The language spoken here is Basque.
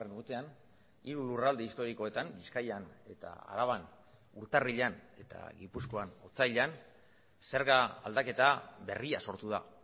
urtean hiru lurralde historikoetan bizkaian eta araban urtarrilean eta gipuzkoan otsailean zerga aldaketa berria sortu da